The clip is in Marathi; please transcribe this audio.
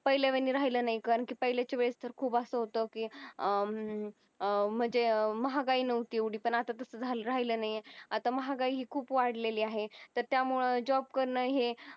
पहिल्या म्हणजे राहिल नाही कारण की पहिल्याच्या वेळेस तर खूप असं होतं की म्हणजे अं महागाई नव्हती एवढी पण आता तसं झालं राहिलं नाही आता महागाई खूप वाढलेली आहे त्यामुळे job करण हे